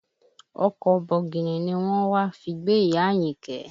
Ọkọ̀ bọ̀gìnì ni wọ́n wá fi gbé ìyá Àyìnkẹ́